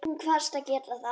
Hún kvaðst geta það.